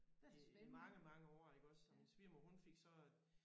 Øh i mange mange år iggås og min svigermor hun fik så øh